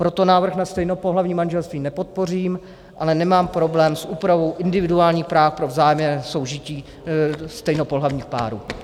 Proto návrh na stejnopohlavní manželství nepodpořím, ale nemám problém s úpravou individuálních práv pro vzájemné soužití stejnopohlavních párů.